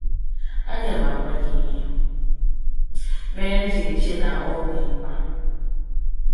Aga m agwa gị ihe mere m ji eche na ọ dị mkpa.